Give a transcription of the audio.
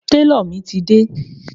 Tálọ̀ mi ti dé.